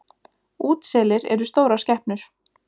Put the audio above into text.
Útselir eru stórar skepnur.